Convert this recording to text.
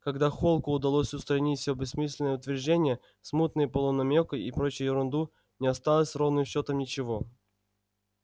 когда холку удалось устранить всё бессмысленные утверждения смутные полунамёки и прочую ерунду не осталось ровным счётом ничего